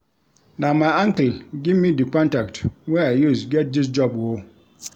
Na my uncle give me di contact wey I use get dis job o.